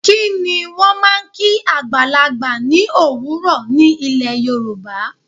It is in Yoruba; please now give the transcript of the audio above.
Kí ni wọ́n máa ń kí àgbàlagbà ní òwúrò ní ilè Yorùbá?